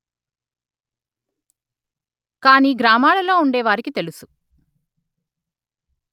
కానీ గ్రామాలలో ఉండేవారికి తెలుసు